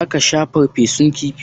Za ka sha farfesun kifi?